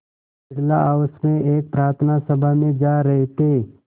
Birla house में एक प्रार्थना सभा में जा रहे थे